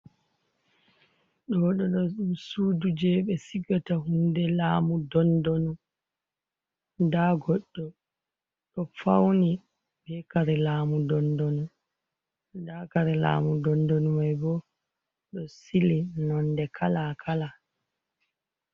Ɗo ɗoɗo suduje ɓe sigata hunde laamu dondonu, nda goɗɗo ɗo fauni bekare lamu dondonu, nda kare lamu dondonu mai bo ɗo sili nonde kalakala.